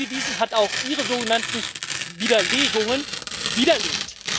darauf hingewiesen, hat auch Ihre sogenannten Widerlegungen widerlegt.